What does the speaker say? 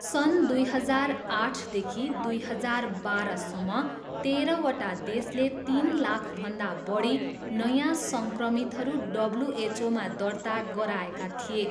सन् दुई हजार आठदेखि दुई हजार बाह्रसम्म तेह्रवटा देशले तिन लाखभन्दा बढी नयाँ सङ्क्रमितहरू डब्ल्युएचओमा दर्ता गराएका थिए।